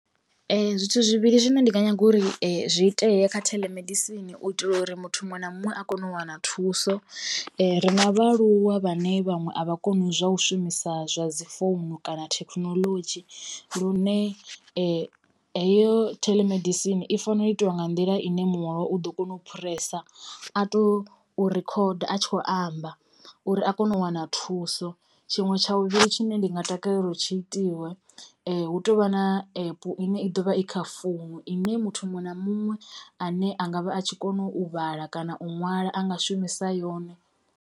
Zwithu zwivhili zwine ndi nga nyaga uri zwi itee kha theḽemedisini u itela uri muthu muṅwe na muṅwe a kone u wana thuso ri na vhaaluwa vhane vhaṅwe a vha koni zwa u shumisa zwa dzi founu kana thekhinolodzhi lune heyo theḽemedisini i fanela u itiwa nga nḓila ine muṅwe wavho u ḓo kona u phuresa a tou rikhoda a tshi kho amba uri a kone u wana thuso. Tshiṅwe tsha tsha vhuvhili tshine ndi nga takalela uri tshi itiwe hu tovha na epu ine i ḓovha i kha founu ine muthu muṅwe na muṅwe ane angavha a tshi kona u vhala kana u ṅwala a nga shumisa yone.